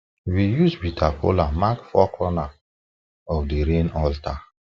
we use bitter kola mark four corner of the rain altar